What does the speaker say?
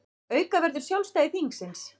Auka verður sjálfstæði þingsins